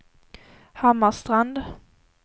Hammarstrand